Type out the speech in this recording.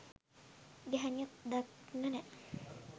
ගැහැනියක් දකින්න නෑ.